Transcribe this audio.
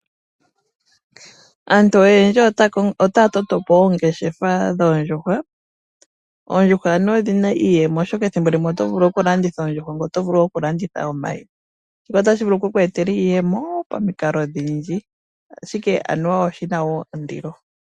Aantu oyendji otaa totopo oongeshefa dhoondjuhwa. Oondjuhwa anuwa odhina iiyemo oshoka ethimbo limwe olina oto vulu okulanditha oondjuhwa ngoye oto vulu oku landitha omayi shika otashi vulu oku kweetela iiyemo pamikalo oshindji ashike oshina woo ondilo.